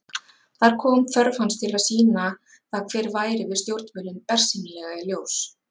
Þar kom þörf hans til að sýna það hver væri við stjórnvölinn bersýnilega í ljós.